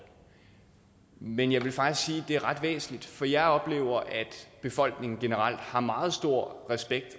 men jeg vil faktisk sige at det er ret væsentligt for jeg oplever at befolkningen generelt har meget stor respekt